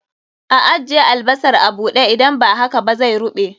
A ajje albasar a buɗe, idan ba haka zai ruɓe